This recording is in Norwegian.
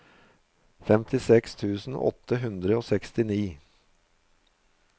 femtiseks tusen åtte hundre og sekstini